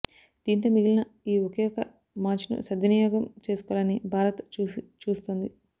దీంతో మిగిలిన ఈ ఒకే ఒక మ్యాచ్ను సద్వినియోగం చేసుకోవాలని భారత్ చూస్తోంది